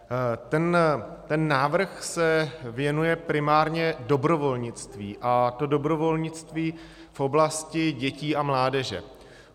Ten návrh se věnuje primárně dobrovolnictví, a to dobrovolnictví v oblasti dětí a mládeže.